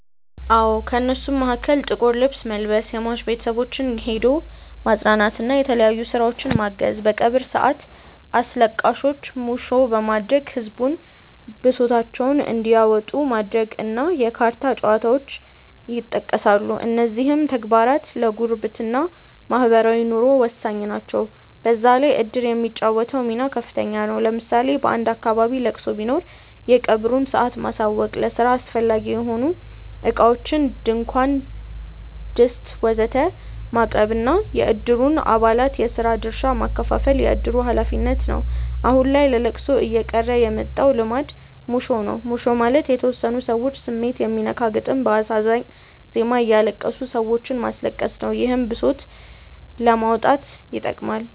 አዎ። ከእነሱም መሀከል ጥቁር ልብስ መልበስ፣ የሟች ቤተሰቦችን ሄዶ ማፅናናት እና የተለያዩ ስራዎችን ማገዝ፣ በቀብር ሰአት አስለቃሾች ሙሾ በማውረድ ህዝቡን ብሶታቸውን እንዲያወጡ ማድረግ እና የካርታ ጨዋታዎች ይጠቀሳሉ። እነዚህም ተግባራት ለጉርብትና (ማህበራዊ ኑሮ) ወሳኝ ናቸው። በዛ ላይ እድር የሚጫወተው ሚና ከፍተኛ ነው። ለምሳሌ በአንድ አካባቢ ለቅሶ ቢኖር የቀብሩን ሰአት ማሳወቅ፣ ለስራ አስፈላጊ የሆኑ እቃዎችን (ድንኳን፣ ድስት ወዘተ...) ማቅረብ እና የእድሩን አባላት የስራ ድርሻ ማከፋፈል የእድሩ ሀላፊነት ነው። አሁን ላይ ለለቅሶ እየቀረ የመጣው ልማድ ሙሾ ነው። ሙሾ ማለት የተወሰኑ ሰዎች ስሜት የሚነካ ግጥም በአሳዛኝ ዜማ እያለቀሱ ሰዎችንም ማስለቀስ ነው። ይህም ብሶትን ለማውጣት ይጠቅማል።